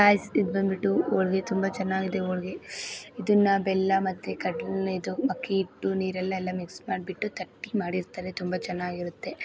Guys ಇದು ಬಂಬಿತು ಒಳಗೆ ತುಂಬಾ ಚೆನ್ನಗಿದೆ ಒಳಗೆ ಇದ್ದಾನ ಬೆಲ್ಲ ಮತ್ತೆ ಅಕ್ಕಿ ಹಿಟ್ಟು ನೀರೆಲ್ಲ ಎಲ್ಲಾ ಮಿಕ್ಸ್ ಮಾಡ್ಬಿತು ತಟ್ಟಿ ಮಾಡಿರ್ತಾರೆ ತುಂಬಾ ಚೆನ್ನಾಗಿರುತ್ತೆ.